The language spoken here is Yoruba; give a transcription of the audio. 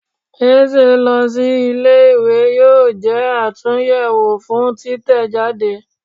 Eze lọ si ìlé-ìwé yọọ jé àtúnyẹwo fún títẹjádé.